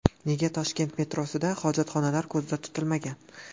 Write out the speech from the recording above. Nega Toshkent metrosida hojatxonalar ko‘zda tutilmagan?.